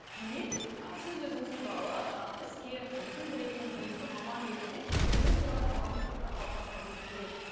демек ы сіз өзіңіз туралы жаңағы іскер жұмысын білетін білікті маман ретінде өзіңіз туралы қоғамдық пікірді қалыптастырғыңыз келеді